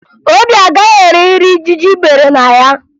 Obi agaghị eri nri ijiji bere na ya